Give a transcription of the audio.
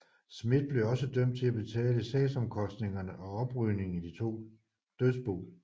Smith blev også dømt til at betale sagsomkostninger og oprydning i de to dødsbo